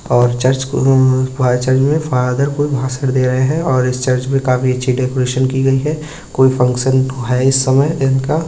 और चर्च कु अ चर्च में फादर कुछ भाषण दे रहे हैं और इस चर्च में काफी अच्छी डेकोरेशन की गई है कोई फंक्शन है इस समय इनका --